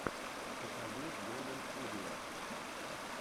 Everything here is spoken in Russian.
покажи голдэнстудио